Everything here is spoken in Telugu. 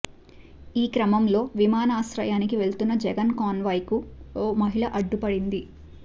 ఈ క్రమంలో విమానాశ్రయానికి వెళుతున్న జగన్ కాన్వాయ్కు ఓ మహిళ అడ్డుపడింది